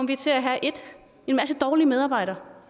vi til at have en masse dårlige medarbejdere